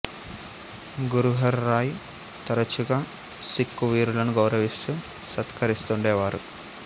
గురు హర్ రాయ్ తరచుగా సిక్ఖు వీరులను గౌరవిస్తూ సత్కరిస్తూండేవారు